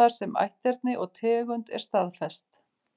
þar sem ætterni og tegund er staðfest.